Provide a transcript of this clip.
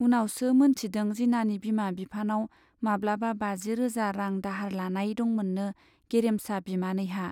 उनावसो मोनथिदों जिनानि बिमा बिफानाव माब्लाबा बाजि रोजा रां दाहार लानाय दंमोननो गेरेमसा बिमानैहा।